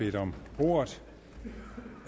at gøre noget ved